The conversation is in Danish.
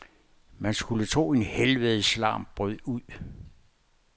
Man skulle tro en helvedes larm brød ud.